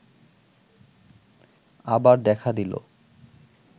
আবার দেখা দিল